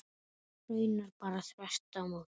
Raunar bara þvert á móti.